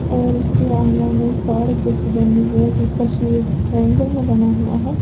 और इसके आंगन में एक पार्क जैसी बनी हुई है जिसका शेप ट्रायंगल में बना हुआ है।